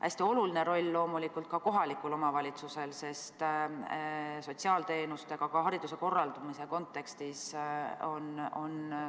Hästi oluline roll loomulikult on ka kohalikul omavalitsusel, kellel on üsna palju sotsiaalteenustega seotud ülesandeid ka hariduse korraldamise kontekstis.